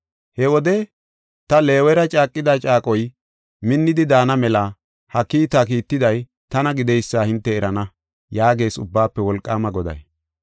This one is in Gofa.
He wode ta Leewera caaqida caaqoy, minnidi daana mela ha kiita kiitiday tana gideysa hinte erana” yaagees Ubbaafe Wolqaama Goday.